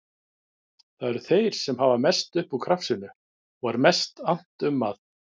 Það eru þeir sem hafa mest upp úr krafsinu og er mest annt um að